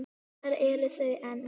Lilja og Stefán.